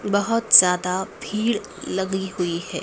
बहोत ज्यादा भीड़ लगी हुई है।